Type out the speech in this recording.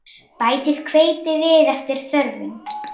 Bætið hveiti við eftir þörfum.